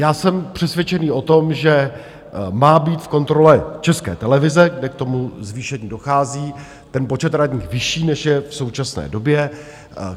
Já jsem přesvědčený o tom, že má být v kontrole České televize, kde k tomu zvýšení dochází, ten počet radních vyšší, než je v současné době.